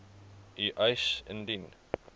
u eis indien